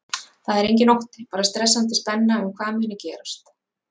Það er enginn ótti, bara stressandi spenna um hvað mun gerast.